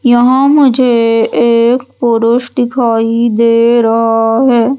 यहां मुझे एक पुरुष दिखाई दे रहा है।